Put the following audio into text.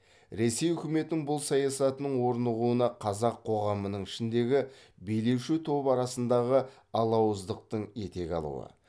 ресей үкіметінің бұл саясатының орнығуына қазақ коғамының ішіндегі билеуші топ арасындағы алауыздықтың етек алуы